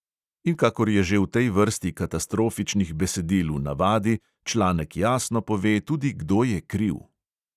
In kakor je že v tej vrsti katastrofičnih besedil v navadi, članek jasno pove tudi, kdo je kriv.